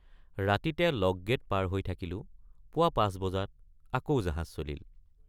ৰাতিতে lock gate পাৰ হৈ থাকিলোঁ পুৱা ৫ বজাত আকৌ জাহাজ চলিল।